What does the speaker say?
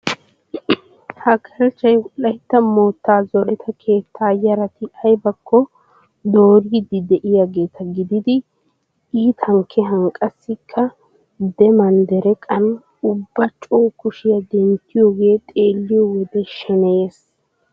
Ha galchchay wolaytta moottaa zoreta keettaa yarati aybakko dooriiddi de'iyageeta gididi iitan kehan qassikka demman dereqan ubba coo kushiya denttiyogee xeelliyo wode sheneyees.